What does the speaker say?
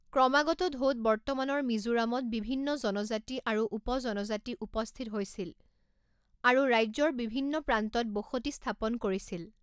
ক্ৰমাগত ঢৌত বৰ্তমানৰ মিজোৰামত বিভিন্ন জনজাতি আৰু উপ জনজাতি উপস্থিত হৈছিল আৰু ৰাজ্যৰ বিভিন্ন প্ৰান্তত বসতি স্থাপন কৰিছিল।